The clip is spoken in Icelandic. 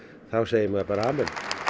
þá segir maður bara amen